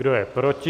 Kdo je proti?